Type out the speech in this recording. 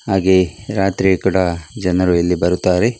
ಹಾಗೆ ರಾತ್ರಿ ಕೂಡ ಜನರು ಇಲ್ಲಿ ಬರುತ್ತಾರೆ .